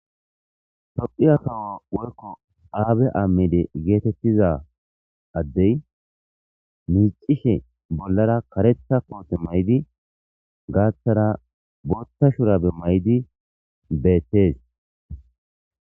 To7iya kawo woykko aabe aammide geetettiza addey miicishe bollara karetha koote may7di gaathara bootha shurabe may7di bettees